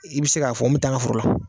I bɛ se k'a fɔ n bɛ taa n ka foro la.